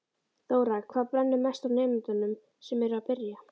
Þóra: Hvað brennur mest á nemendunum sem eru að byrja?